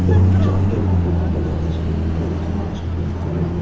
এবং জানলে এবং রুম -টা দেখা ছি রুমটা দেখে মনে হচ্ছে খুব ভালো রুম ।